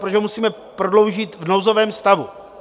Proč ho musíme prodloužit v nouzovém stavu?